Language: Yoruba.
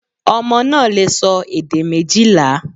Ọmọ náà lè sọ èdè méjìlá